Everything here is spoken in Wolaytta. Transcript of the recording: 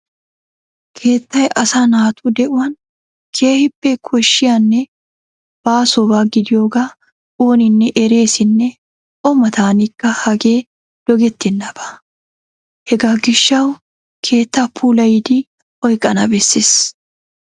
Keettay asaa naatu de'uwan keehippe koshshiyanne baasoba gidiyogaa ooninne ereesinne O mataanikka hagee dogettennaba. Hegaa gishshawu keettaa puulayidi oyqqana bessees.